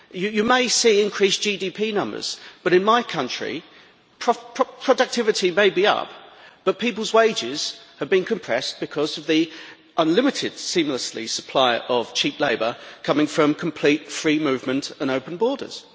You may see increased GDP numbers but, in my country, productivity may be up but people's wages have been compressed because of the seemlessly unlimited supply of cheap labour coming from complete free movement and open borders.